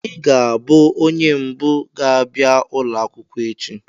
Ị ga-abụ onye mbụ ga-abịa ụlọ akwụkwọ echi!